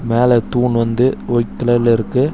மேல தூண் வந்து ஒய்ட் கலர்ல இருக்கு.